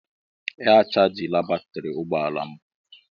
Ee a chajila batrị ụgbọ ala m.